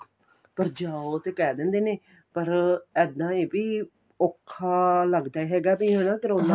ਪਰ ਜਾਉ ਤੇ ਕਹਿ ਦੇ ਦਿੰਦੇ ਨੇ ਪਰ ਇੱਦਾਂ ਏ ਵੀ ਔਖਾ ਲੱਗਦਾ ਹੈਗਾ ਵੀ ਹਨਾ ਕਰੋਨਾ